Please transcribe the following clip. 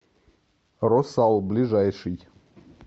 росал ближайший